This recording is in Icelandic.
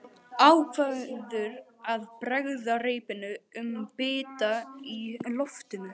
Ákveður að bregða reipinu um bita í loftinu.